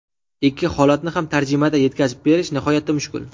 Ikki holatni ham tarjimada yetkazib berish nihoyatda mushkul.